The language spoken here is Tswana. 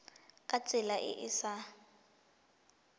ka tsela e e sa